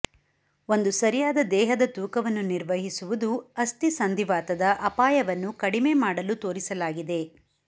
ಒಂದು ಸರಿಯಾದ ದೇಹದ ತೂಕವನ್ನು ನಿರ್ವಹಿಸುವುದು ಅಸ್ಥಿಸಂಧಿವಾತದ ಅಪಾಯವನ್ನು ಕಡಿಮೆ ಮಾಡಲು ತೋರಿಸಲಾಗಿದೆ